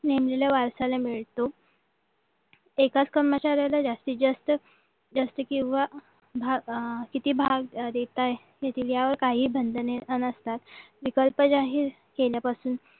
नेमलेल्या वारसाला मिळतो एकाच कर्मचाऱ्याला जास्तीत जास्त जास्ती किंवा किती भाग देताय हे दिल्यावर काही बंधने नसतात विकल्प जाहीर केल्यापासून